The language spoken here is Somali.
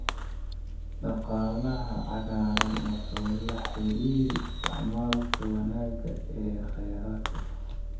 Dhaqaalaha cagaaran wuxuu la xiriiraa isticmaalka wanaagsan ee kheyraadka.